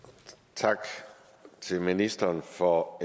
tak til ministeren for